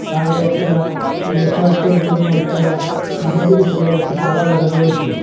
আরো একটা নেটওয়ার্ক -এর জন্য একটা ছাদের উপরে একটি টাওয়ার লাগানো রয়েছে।